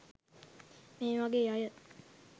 මේ වගේ අය